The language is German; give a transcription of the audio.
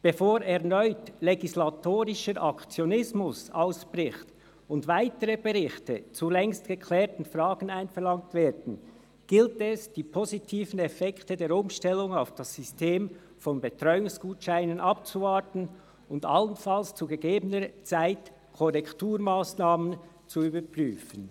Bevor erneut legislatorischer Aktionismus ausbricht und weitere Berichte zu längst geklärten Fragen einverlangt werden, gilt es, die positiven Effekte der Umstellung auf das System von Betreuungsgutscheinen abzuwarten und allenfalls zu gegebener Zeit Korrekturmassnahmen zu überprüfen.